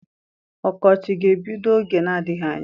Ọkọchị ga-ebido oge na-adịghị anya.